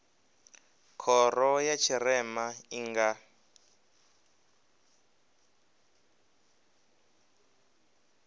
khoro ya tshirema i nga